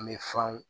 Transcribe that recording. An bɛ fanw